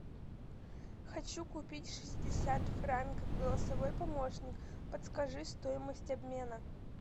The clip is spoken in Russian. хочу купить шестьдесят франков голосовой помощник подскажи стоимость обмена